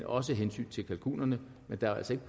også af hensyn til kalkunerne for der er altså ikke